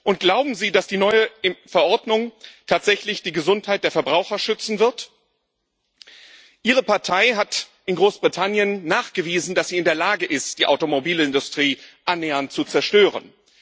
Und glauben Sie, dass die neue Verordnung tatsächlich die Gesundheit der Verbraucher schützen wird? Ihre Partei hat in Großbritannien nachgewiesen, dass sie in der Lage ist, die Automobilindustrie annähernd zu zerstören.